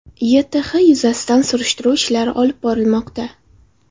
YTH yuzasidan surishtiruv olib borilmoqda.